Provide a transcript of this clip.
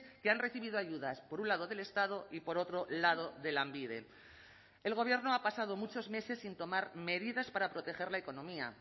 que han recibido ayudas por un lado del estado y por otro lado de lanbide el gobierno ha pasado muchos meses sin tomar medidas para proteger la economía